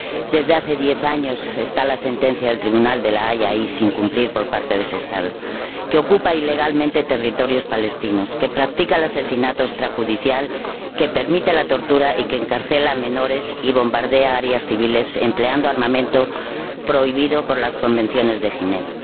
Desde hace diez años se incumple la sentencia del Tribunal de La Haya por parte de ese Estado que ocupa ilegalmente territorios palestinos, que practica el asesinato extrajudicial, que permite la tortura, que encarcela a menores y que bombardea áreas civiles empleando armamento prohibido por las Convenciones de Ginebra.